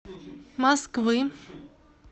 москвы